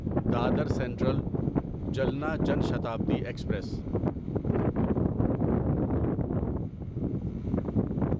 Dadar central Jalna Jan Shatabdi express